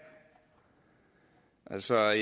altså